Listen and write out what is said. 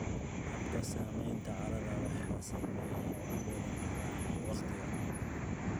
Habka samaynta carrada waxaa saameeya cimilada, noolaha, iyo waqtiga.